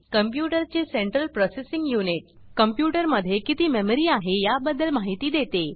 computer चे central processing unit computer मध्ये किती मेमरी आहे या बदद्ल माहिती देते